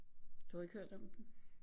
Du har ikke hørt om den